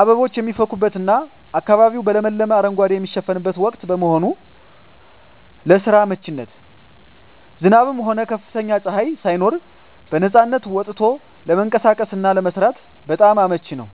አበቦች የሚፈኩበትና አካባቢው በለመለመ አረንጓዴ የሚሸፈንበት ወቅት በመሆኑ። ለስራ አመቺነት፦ ዝናብም ሆነ ከፍተኛ ፀሐይ ሳይኖር በነፃነት ወጥቶ ለመንቀሳቀስና ለመስራት በጣም አመቺ ነው።